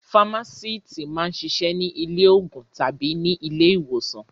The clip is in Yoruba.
Fámásíítì máa ń ṣiṣẹ́ ní ilé-òògùn tàbí ní ilé-ìwòsàn.